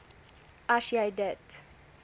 as jy dit